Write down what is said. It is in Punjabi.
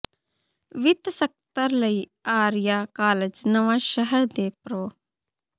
ਵਿੱਤ ਸਕੱਤਰ ਲਈ ਆਰੀਆ ਕਾਲਜ ਨਵਾਂ ਸ਼ਹਿਰ ਦੇ ਪ੍ਰੋ